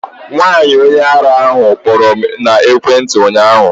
Nwaanyi onye arụ kpọrọ m na ekwentị ụnyaahụ